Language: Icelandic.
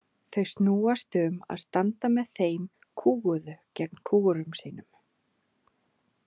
Þau snúast um að standa með þeim kúguðu gegn kúgurum sínum.